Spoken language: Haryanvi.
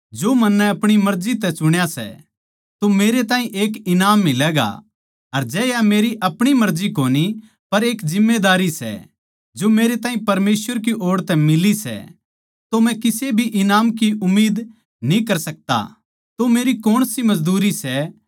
जै मै यो काम करुँ सूं जो मन्नै अपणी मर्जी तै चुण्या सै तो मेरे ताहीं एक ईनाम मिलैगा अर जै या मेरी अपणी मर्जी कोनी पर एक जिम्मेदारी जो मेरे ताहीं परमेसवर की ओड़ तै मिली सै तो मै किसे भी ईनाम की उम्मीद न्ही कर सकता